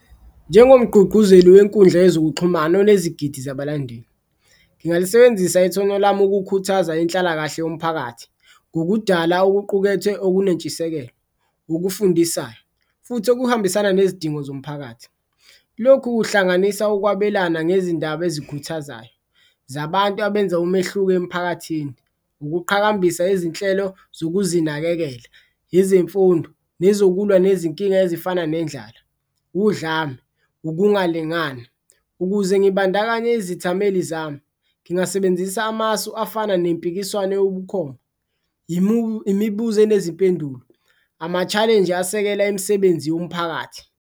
Njengomgqugquzeli wenkundla yezokuxhumana onezigidi zabalandeli, ngingalisebenzisa ithonya lami ukukhuthaza inhlalakahle yomphakathi ngokudala okuqukethwe okunentshisekelo, okufundisayo futhi okuhambisana nezidingo zomphakathi. Lokhu kuhlanganisa ukwabelana ngezindaba ezikhuthazayo zabantu abenza umehluko emphakathini, ukuqhakambisa izinhlelo zokuzinakekela, izimfundo nezokulwa nezinkinga ezifana nendlala, udlame, ukungalingani. Ukuze ngiyibandakanye izithameli zami, ngingasebenzisa amasu afana nempikiswano eyobukhona, imibuzo enezimpendulo, ama-challenge asekela imisebenzi yomphakathi.